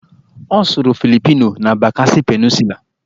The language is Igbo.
Ọ sụrụ Philipino na Bakasi Peninsulaa